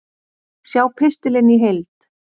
Sjá pistilinn í heild